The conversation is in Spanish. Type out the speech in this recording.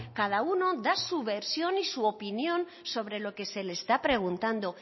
cada uno da su versión y su opinión sobre lo que se le está preguntando